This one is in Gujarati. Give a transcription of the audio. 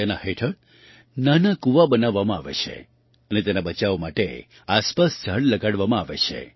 તેના હેઠળ નાના કૂવા બનાવવામાં આવે છે અને તેના બચાવ માટે આસપાસ ઝાડ લગાવવામાં આવે છે